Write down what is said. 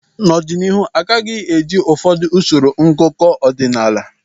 N'ọdịnihu agaghị eji ụfọdụ usoro ngụkọ ọdịnala